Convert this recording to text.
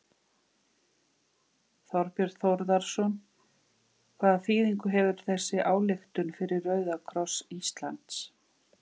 Þorbjörn Þórðarson: Hvaða þýðingu hefur þessi ályktun fyrir Rauða kross Íslands?